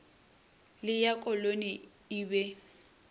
le ya koloni e be